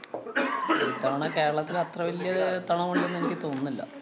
അഹ് ഇത്തവണ കേരളത്തില് അത്ര വലിയ തെ~ തണുവുണ്ടെന്ന് എനിക്ക് തോന്നുന്നില്ല.